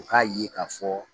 U k'a ye k'a fɔ